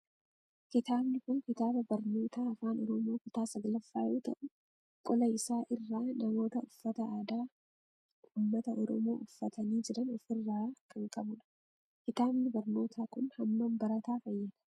Kitaabni kun kitaaba barnootaa afaan oromoo kutaa 9ffaa yoo ta'u qola isaa irraa namoota uffata aadaa ummata oromoo uffatani jiran of irraa kan qabudha. Kitaabni barnootaa kun haammam barataa fayyada?